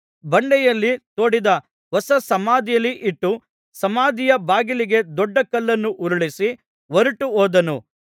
ಬಂಡೆಯಲ್ಲಿ ತೋಡಿದ್ದ ಹೊಸ ಸಮಾಧಿಯಲ್ಲಿ ಇಟ್ಟು ಸಮಾಧಿಯ ಬಾಗಿಲಿಗೆ ದೊಡ್ಡ ಕಲ್ಲನ್ನು ಉರುಳಿಸಿ ಹೊರಟುಹೋದನು